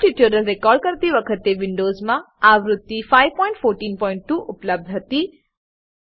Perl ટ્યુટોરીયલો record કરતી વખતે વિન્ડોવ્ઝમાં આવૃત્તિ 5142 ઉપલબ્ધ હતી